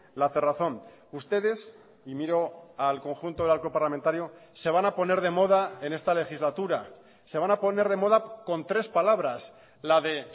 la cerrazón ustedes y miro al conjunto del arco parlamentario se van a poner de moda en esta legislatura se van a poner de moda con tres palabras la de